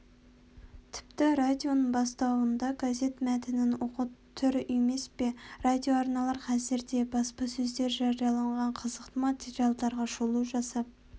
тіпті радионың бастауында газет мәтінін оқу тұр емес пе радиоарналар қазір де баспасөзде жарияланған қызықты материалдарға шолу жасап